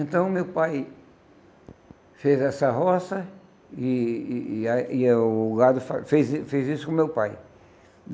Então, meu pai fez essa roça, e e a e a o gado faz fez i fez isso com o meu pai.